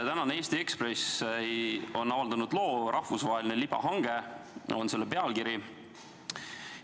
Tänane Eesti Ekspress on avaldanud loo "Rahvusvaheline libahange" – nii on selle pealkiri.